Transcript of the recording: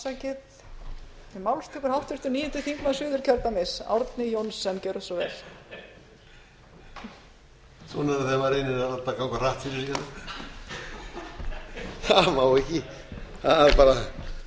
svona er það þegar maður reynir að láta þetta ganga hratt fyrir sig hérna það má ekki það er bara